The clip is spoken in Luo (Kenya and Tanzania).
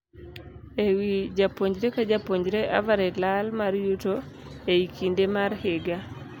Ewii japuonjre ka japuonjre average lal mar uyuto ei kinde mar higa.